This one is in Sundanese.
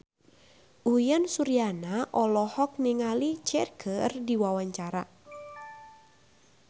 Uyan Suryana olohok ningali Cher keur diwawancara